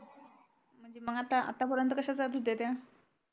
म्हणजे म आता आत्या परेंत कश्या जात होत्या त्या